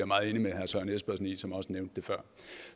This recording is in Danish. meget enig med søren espersen i som også nævnte det før